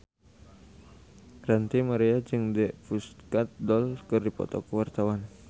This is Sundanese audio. Ranty Maria jeung The Pussycat Dolls keur dipoto ku wartawan